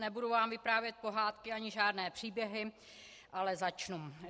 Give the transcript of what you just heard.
Nebudu vám vyprávět pohádky ani žádné příběhy, ale začnu.